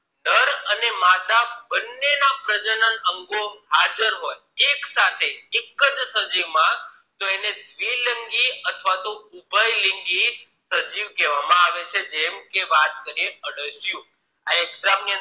પ્રજનન અંગો હાજર હોય એક સાથે એક જ સજીવ માં તો એને દ્વિલિંગી અથવા તો ઉભયલિંગી સજીવ કહેવામાં આવે છે જેમ કે વાત કરીએ અળસિયું આ exam ની